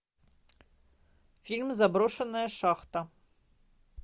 фильм заброшенная шахта